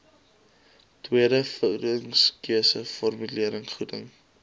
tweede voedingskeuse formulevoeding